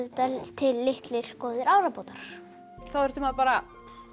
til litlir góðir árabátar þá þurfti maður bara